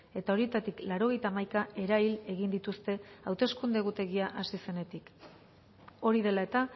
eta horietatik laurogeita hamaika erahil egin dituzte hauteskunde egutegia hasi zenetik hori dela eta